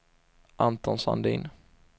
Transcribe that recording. Anton Sandin